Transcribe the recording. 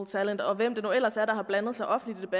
talent og hvem det nu ellers er der har blandet sig offentligt